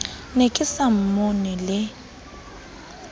ne ke sa mmone le